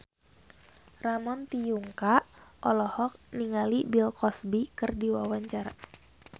Ramon T. Yungka olohok ningali Bill Cosby keur diwawancara